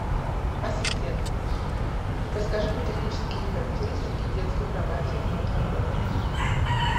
ассистент расскажи мне технические характеристики детской кровати в номере отеля